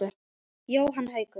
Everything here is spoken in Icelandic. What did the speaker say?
Jóhann Haukur.